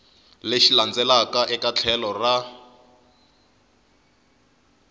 lexi landzelaka eka tlhelo ra